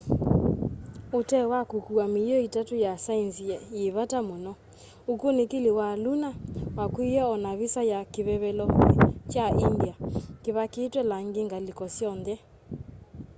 utee wa kukua miio itatu ya saenzi yi vata muno ukunikili wa lunar wakuiye o na visa ya kivevelo kya india kivakitwe langi ngaliko syonthe